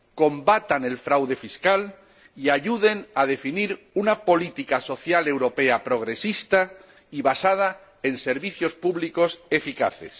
combatan el fraude fiscal y ayuden a definir una política social europea progresista y basada en servicios públicos eficaces.